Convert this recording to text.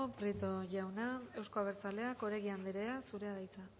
prieto jauna euzko abertzaleak oregi anderea zurea da hitza